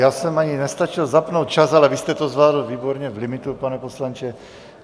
Já jsem ani nestačil zapnout čas, ale vy jste to zvládl výborně v limitu, pane poslanče.